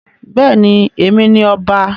Bẹ́ẹ̀ ni, Èmi ni ọba.